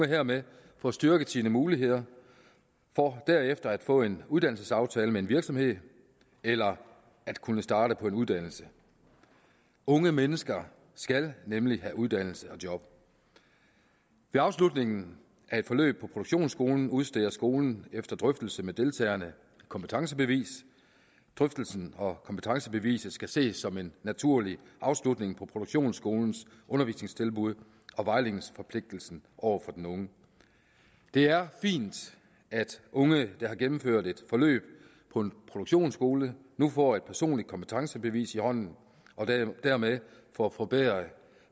hermed får styrket sine muligheder for derefter at kunne få en uddannelsesaftale med en virksomhed eller at kunne starte på en uddannelse unge mennesker skal nemlig have uddannelse og job ved afslutningen af et forløb på produktionsskolen udsteder skolen efter drøftelse med deltagerne et kompetencebevis drøftelsen og kompetencebeviset skal ses som en naturlig afslutning på produktionsskolens undervisningstilbud og vejledningsforpligtelse over for den unge det er fint at unge der har gennemført et forløb på en produktionsskole nu får et personligt kompetencebevis i hånden og dermed får forbedret